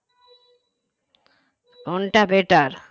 কোনটা better